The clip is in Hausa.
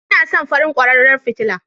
Ina son farin kwararan fitila